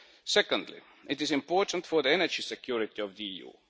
Secondly, it is important for the energy security of the EU.